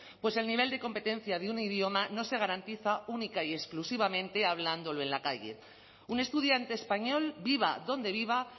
pues el nivel de competencia de un idioma no se garantiza única y exclusivamente hablándolo en la calle un estudiante español viva donde viva